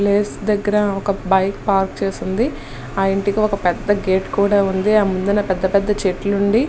ఆ ప్లేస్ దగ్గర ఒక బైక్ పార్క్ చేసియున్నది ఆ ఇంటికి ఒక పేద గేట్ కూడా ఉన్నది ఆ ముందు పెద్ద పెద్ద చెట్లు ఉన్నది.